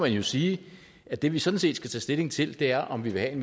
jo sige at det vi sådan set skal tage stilling til er om vi vil have en